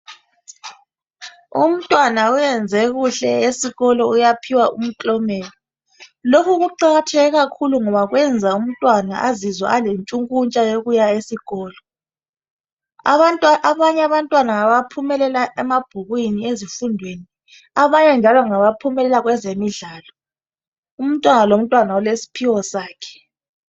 Umntwana uyenze kuhle esikolo uyaphiwa umklomelo lokhu kuqakatheke kakhulu ngoba kwenza umntwana azizwe alentshukuntsha yokuya esikolo abanye abantwana ngabaphumelela emabhukwini ezifundweni abanye njalo ngabaphumelela kwezemidlalo umntwana lomntwana ulesiphiwo sakhe.